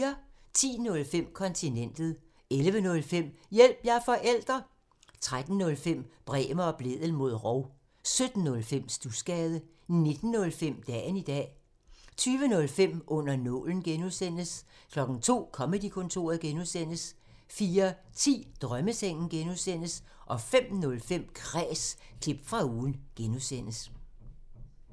10:05: Kontinentet 11:05: Hjælp – jeg er forælder! 13:05: Bremer og Blædel mod rov 17:05: Studsgade 19:05: Dagen i dag 20:05: Under nålen (G) 02:00: Comedy-kontoret (G) 04:10: Drømmesengen (G) 05:05: Kræs – klip fra ugen (G)